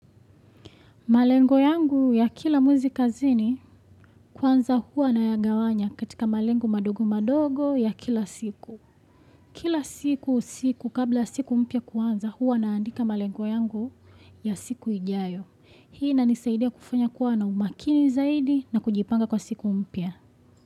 Malengo yangu ya kila mwezi kazini, kwanza huwa nayagawanya katika malengo madogo madogo ya kila siku. Kila siku, usiku, kabla siku mpya kuanza huwa naandika malengo yangu ya siku ijayo. Hii inanisaidia kufanya kuwa na umakini zaidi na kujipanga kwa siku mpya.